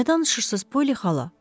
Nə danışırsınız, Poli xala?